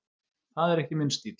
Það er ekki minn stíll.